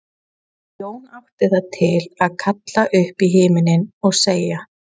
Jón átti það til að kalla upp í himininn og segja